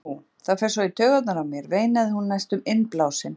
Ó, það fer svo í taugarnar á mér, veinaði hún næstum innblásin.